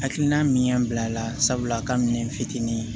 Hakilina min y'an bila a la sabula a ka minɛ fitinin